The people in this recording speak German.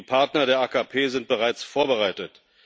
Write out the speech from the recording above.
Die Partner der AKP sind bereits vorbereitet.